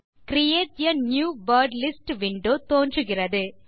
create a new wordlist window தோன்றுகிறது